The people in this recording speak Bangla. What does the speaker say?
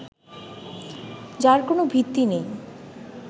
যার কোন ভিত্তি নেই